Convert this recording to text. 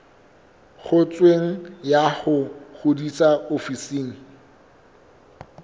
ngotsweng ya ho ngodisa ofising